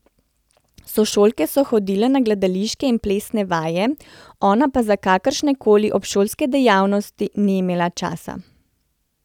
Sošolke so hodile na gledališke in plesne vaje, ona pa za kakršne koli obšolske dejavnosti ni imela časa.